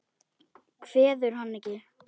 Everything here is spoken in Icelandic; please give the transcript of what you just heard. Kveður hann ekki.